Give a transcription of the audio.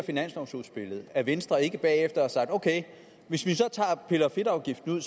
finanslovudspillet at venstre ikke bagefter har sagt ok hvis vi så piller fedtafgiften ud